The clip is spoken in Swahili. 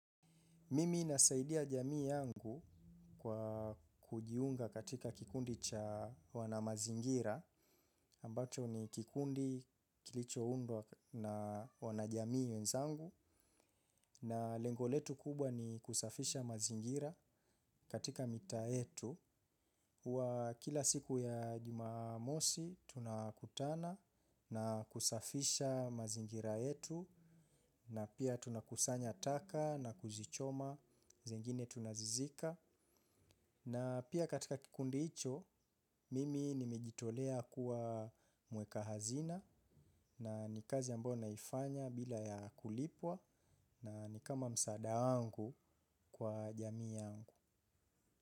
Mimi nasaidia jamii yangu kwa kujiunga katika kikundi cha wana mazingira ambacho ni kikundi kilicho undwa na wana jamii wenzangu na lengo letu kubwa ni kusafisha mazingira katika mitaa yetu. Kwa kila siku ya jumamosi, tunakutana na kusafisha mazingira yetu. Na pia tunakusanya taka na kuzichoma, zingine tunazizika. Na pia katika kikundi hicho, mimi nimejitolea kuwa mweka hazina. Na ni kazi ambayo naifanya bila ya kulipwa na nikama msaada wangu kwa jamii yangu.